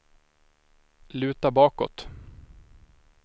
luta bakåt